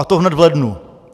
A to hned v lednu.